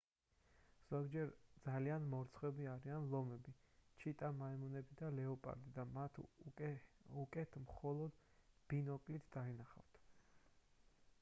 ზოგჯერ ძალიან მორცხვები არიან ლომები ჩიტა მაიმუნები და ლეოპარდი და მათ უკეთ მხოლოდ ბინოკლით დაინახავთ